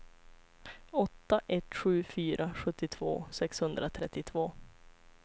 åtta ett sju fyra sjuttiotvå sexhundratrettiotvå